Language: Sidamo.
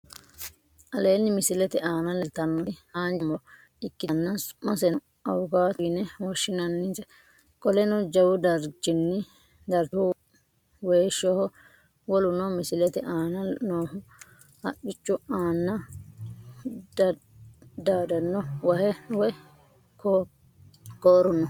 Aleenni misilete aana leeltannoti haanja mu'ro ikkitanna su'maseno awukaato yine woshshinannise. Qoleno jawu darchihu weeshoho. Woluno misilete aana noohu haqqu aana daaddanno wahe woy kooru no.